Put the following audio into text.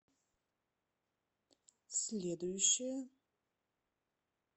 следующая